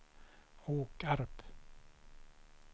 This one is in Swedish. Åkarp